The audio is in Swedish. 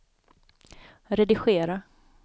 redigera